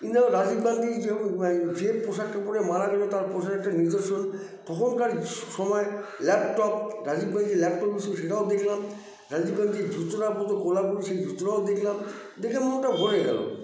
ইন্দির গান্ধী গান্দি যেতূ এম যে পোশাকটা পরে মারা গেল তার পোশাকের একটা নিজস্ব তখনকার সময় laptop Rajiv Gandhi laptop use করতো সেটাও দেখলাম রাজীব গান্ধী যে জুতোটা পরতো কোলাপুরী সে জুতো টাও দেখলাম দেখে মনটা ভরে গেল